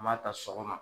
M'a ta sɔgɔma